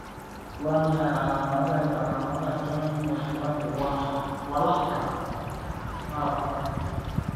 Waa maxay calamadaha iyo calamadaha Doyne walaxda malabka dystrophy?